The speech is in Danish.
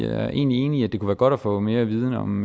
er egentlig enig i at det kunne være godt at få mere viden om